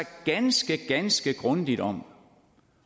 ganske ganske grundigt om